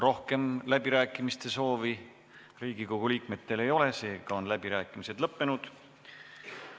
Rohkem läbirääkimiste soovi Riigikogu liikmetel ei ole, seega on läbirääkimised lõppenud.